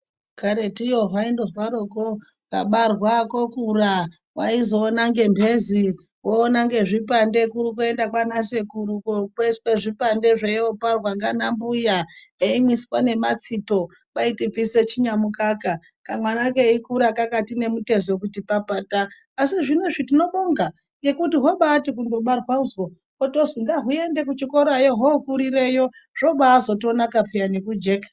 Karetuyo hwandozwaroko kabarwa kokura waizoona ngemhezi, woona ngezvipande kurikuenda kwanasekuru kokweshwe zvipande zve iyopara ndiana mbuya emimwiswa nematsito kwai tibvise chinyamukaka, kamwana keikura kakati nemutezo kuti papata, asi zvinozvi tinobonga ngekuti hwabati kundobarwazwo hotozwi ngahuende kuchikorayo hwokurireyo zvobaazotonaka peya nekujeka.